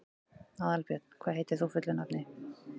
Aðalbjörn, hvað heitir þú fullu nafni?